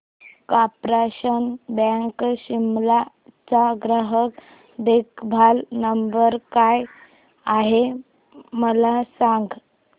corporation bank Shimla चा ग्राहक देखभाल नंबर काय आहे मला सांग